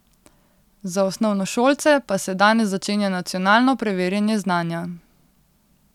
Za osnovnošolce pa se danes začenja nacionalno preverjanje znanja.